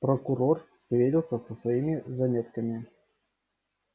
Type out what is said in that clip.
прокурор сверился со своими заметками